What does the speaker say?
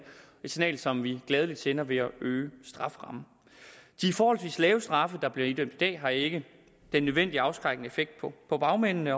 signal som vi gladeligt sender ved at øge strafferammen de forholdsvis lave straffe der bliver idømt i dag har ikke den nødvendige afskrækkende effekt på bagmændene